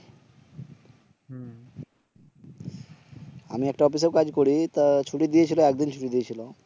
আমি একটা অফিস এও কাজ করি তা ছুটি দিয়েছিল একদিন ছুটি দিয়েছিল